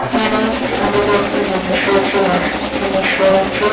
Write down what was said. এখানে অনেক রকমের জিনিস রয়েছে ওয়াশ জিনিস রয়েছে।